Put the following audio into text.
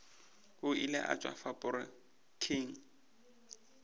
o ile a tšwa faporiking